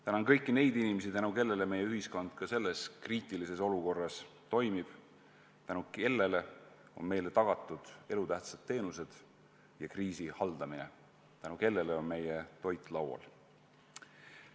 Tänan kõiki neid inimesi, tänu kellele meie ühiskond selles kriitilises olukorras toimib, tänu kellele on tagatud elutähtsate teenuste osutamine ja kriisi haldamine, tänu kellele on meil toit laual.